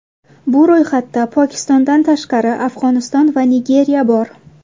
Bu ro‘yxatda, Pokistondan tashqari, Afg‘oniston va Nigeriya bor.